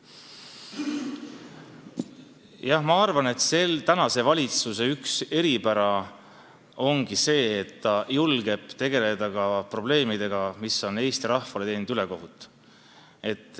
Jah, ma arvan, et praeguse valitsuse üks eripära ongi see, et ta julgeb tegeleda ka probleemidega, mis tulenevad Eesti rahvale tehtud ülekohtust.